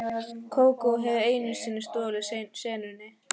Kókó hafði einu sinni stolið senunni.